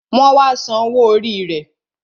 Wọn wá san owó orí rẹ